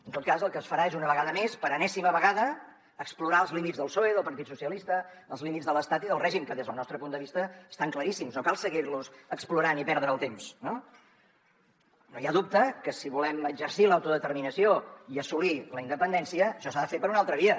en tot cas el que es farà és una vegada més per enèsima vegada explorar els límits del psoe del partit socialista els límits de l’estat i del règim que des del nostre punt de vista estan claríssims no cal seguir los explorant i perdre el temps no no hi ha dubte que si volem exercir l’autodeterminació i assolir la independència això s’ha de fer per una altra via